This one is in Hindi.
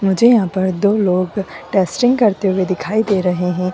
मुझे यहां पर दो लोग टेस्टिंग करते हुए दिखाई दे रहे है।